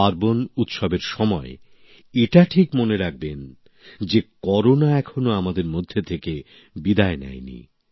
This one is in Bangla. পার্বণউৎসবের সময় এটা ঠিক মনে রাখবেন যে করোনা এখনো আমাদের মধ্য থেকে বিদায় নেয় নি